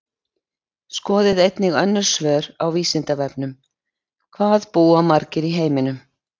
Skoðið einnig önnur svör á Vísindavefnum: Hvað búa margir í heiminum?